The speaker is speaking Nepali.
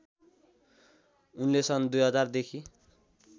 उनले सन् २००० देखि